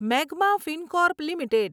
magma Fincorp limited